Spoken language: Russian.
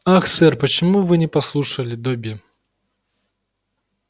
ах сэр почему вы не послушали добби